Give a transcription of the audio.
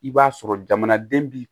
I b'a sɔrɔ jamanaden bi